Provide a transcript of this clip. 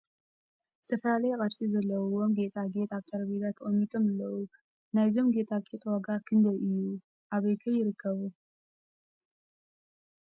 ዝተፈላለየ ቅርፂ ዘለዎም ጌጣ ጌጥ ኣብ ጠረጴዛ ተቀሚጦም እለዉ ። ናይዞም ጌጣ ጌጥ ዋጋ ክንደይ እዩ ኣብይ ከ ይርከቡ ?